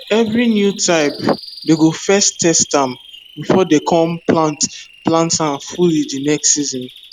every new type dey go first test ahm before dey com plant plant ahm fully de next season